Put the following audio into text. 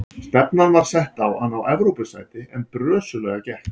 Stefnan var sett á að ná Evrópusæti en brösuglega gekk.